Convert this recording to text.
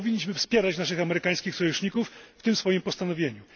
Dlatego powinniśmy wspierać naszych amerykańskich sojuszników w tym postanowieniu.